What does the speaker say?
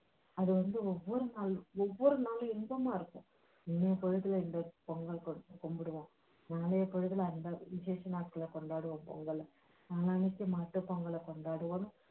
அது வந்து ஒவ்வொரு நாளும் ஒவ்வொரு நாளும் இன்பமா இருக்கும் இந்த பொங்கல் கும்பிடுவோம் முந்தைய பொழுதுல அந்த விஷேச நாட்களை கொண்டாடுவோம் பொங்கலை மாட்டுப் பொங்கலைக் கொண்டாடுவோம்